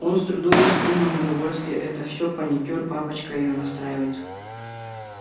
он с трудом скрыл неудовольствие это все паникёр папочка её настраивает